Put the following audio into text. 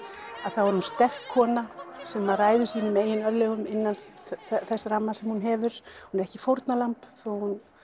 þá er hún sterk kona sem ræður sínum eigin örlögum innan þess ramma sem hún hefur hún er ekki fórnarlamb þó hún